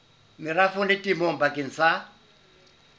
merafong le temong bakeng sa